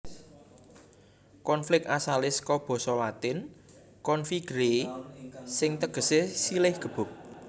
Konflik asalé saka basa Latin configere sing tegesé silih gebuk